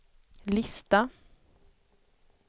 lista